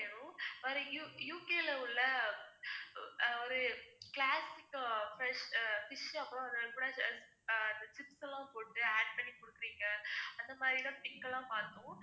அது மாதிரி U~ U. K. ல உள்ள ஒரு classic fish அப்புறம் எல்லாம் போட்டு add பண்ணி கொடுக்கறீங்க அந்த மாதிரிதான் pic எல்லாம் பாத்தோம்.